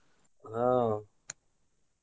ಆಹ್.